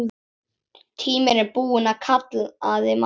Tíminn er búinn kallaði Magga.